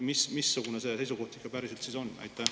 Missugune see seisukoht ikka päriselt on?